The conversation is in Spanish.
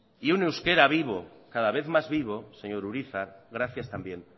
y un euskera vivo cada vez más vivo señor urizar gracias también